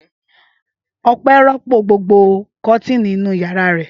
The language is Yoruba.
Ọpẹ́ rọ́pò gbogbo kọ́tíìnì inú ìyàrá rẹ̀?